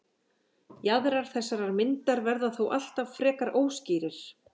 Jaðrar þessarar myndar verða þó alltaf frekar óskýrir.